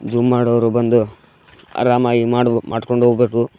Zoom ಮಾಡೋರು ಬಂದು ಆರಾಮಾಗಿ ಮಾಡ್ ಮಾಡ್ಕೊಂಡು ಹೋಬೋದು.